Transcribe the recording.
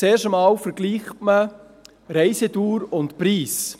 Zuerst vergleicht man Reisedauer und Preis.